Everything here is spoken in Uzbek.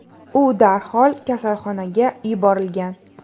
U darhol kasalxonaga yuborilgan.